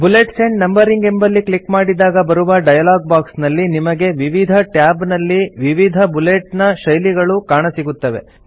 bullets and numbering ಎಂಬಲ್ಲಿ click ಮಾಡಿದಾಗ ಬರುವ ಡಯಲಾಗ್ ಬಾಕ್ಸ್ ನಲ್ಲಿ ನಿಮಗೆ ವಿವಿಧ ಟ್ಯಾಬ್ ನಲ್ಲಿ ವಿವಿಧ ಬುಲೆಟ್ ನ ಶೈಲಿಗಳು ಕಾಣಸಿಗುತ್ತವೆ